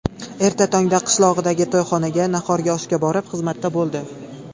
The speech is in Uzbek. Erta tongda qishlog‘idagi to‘yxonaga nahorgi oshga borib, xizmatda bo‘ldi.